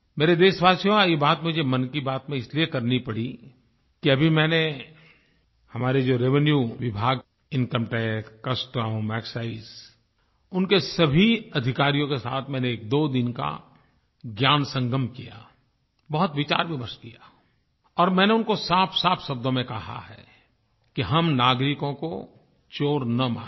मेरे देशवासियो आज ये बात मुझे मन की बात में इसलिए करनी पड़ी कि अभी मैंने हमारे जो रेवेन्यू विभाग इनकम टैक्स कस्टम एक्साइज उनके सभी अधिकारियों के साथ मैंने एक दोदिन का ज्ञानसंगम किया बहुत विचारविमर्श किया और मैंने उनको साफसाफ शब्दो में कहा है कि हम नागरिकों को चोर न मानें